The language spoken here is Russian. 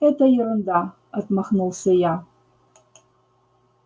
это ерунда отмахнулся я